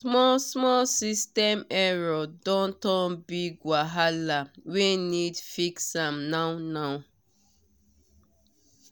small small system error don turn big wahala wey need fix am now now